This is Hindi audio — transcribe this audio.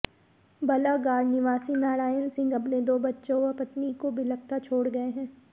बलागाड़ निवासी नारायण सिंह अपने दो बच्चों व पत्नी को बिलखता छोड़ गए हैं